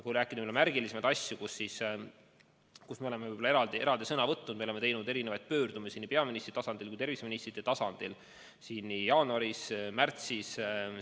Kui viidata märgilisematele asjadele, kus me oleme eraldi sõna võtnud, siis me oleme teinud pöördumisi nii peaministrite tasandil kui ka terviseministrite tasandil jaanuaris ja märtsis.